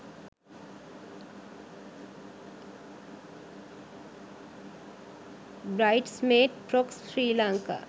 bridesmaids frocks sri lanka